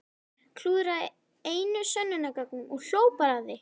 Klúðraði einu sönnunargögnunum og hló bara að því!